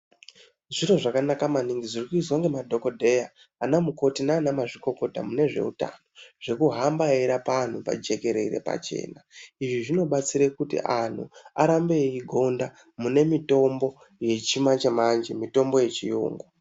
Zviro zvakanaka maningi zvirikuizwa ngemadhokodheya ana mukoti nanamazvikokota mune zveutano zvekuhamba eirapa antu pajekerere pachena izvi zvinobatsire kuti antu arambe eigonda munemitombo vechimanje manje mitombo yechiyungu.